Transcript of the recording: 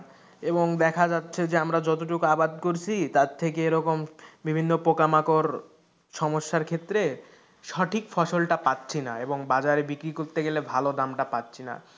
এবং দেখা যাচ্ছে যে আমরা যতটুক আবাদ করছি তার থেকে এরকম বিভিন্ন পোকামাকড় সমস্যার ক্ষেত্রে সঠিক ফসলটা পাচ্ছিনা এবং বাজারে বিক্রি করতে গেলে ভালো দামটা পাচ্ছি না,